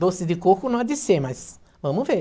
Doce de coco não há de ser, mas vamos ver.